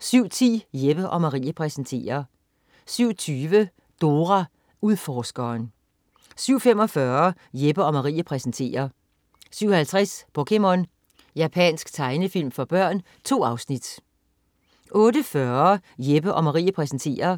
07.10 Jeppe & Marie præsenterer 07.20 Dora Udforskeren 07.45 Jeppe & Marie præsenterer 07.50 POKéMON. Japansk tegnefilm for børn. 2 afsnit 08.40 Jeppe & Marie præsenterer